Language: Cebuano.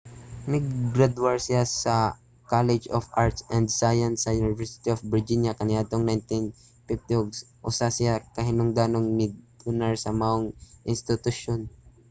nigradwar siya sa college of arts & science sa university of virginia kaniadtong 1950 ug usa siya ka hinungdanong mi-donar sa mao nga institusyon